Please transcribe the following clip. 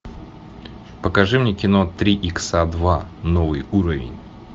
покажи мне кино три икса два новый уровень